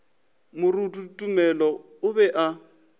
moruti tumelo a be a